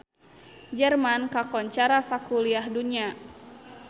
Jerman kakoncara sakuliah dunya